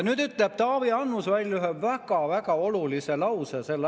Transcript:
Nüüd ütleb Taavi Annus välja ühe väga-väga olulise asja.